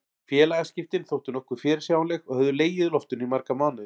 Félagaskiptin þóttu nokkuð fyrirsjáanleg og höfðu legið í loftinu í marga mánuði.